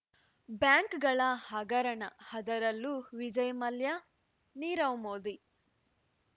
ಬ್ಯಾಂಕ್‌ಗಳ ಹಗರಣ ಅದರಲ್ಲೂ ವಿಜಯ್ ಮಲ್ಯ ನೀರವ್ ಮೋದಿ